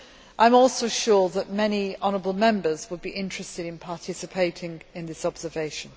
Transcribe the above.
I am also sure that many honourable Members would be interested in participating in this observation.